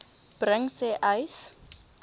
bring sê uys